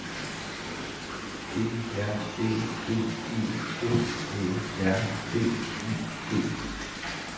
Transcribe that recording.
G R Æ D E F Æ R D I G